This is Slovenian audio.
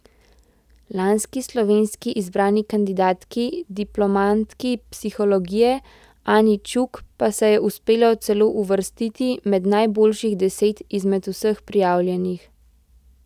Lanski slovenski izbrani kandidatki, diplomantki psihologije, Ani Čuk pa se je uspelo celo uvrstiti med najboljših deset izmed vseh prijavljenih.